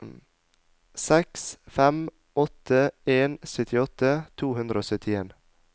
seks fem åtte en syttiåtte to hundre og syttien